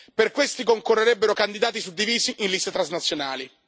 Per questi concorrerebbero candidati suddivisi in liste transnazionali.